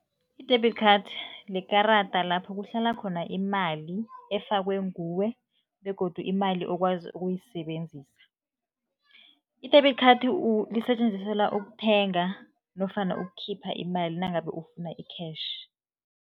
I-debit card likarada lapho kuhlala khona imali efakwe nguwe begodu imali okwazi ukuyisebenzisa. I-debit card lisetjenziselwa ukuthenga nofana ukukhipha imali nangabe ufuna i-cash.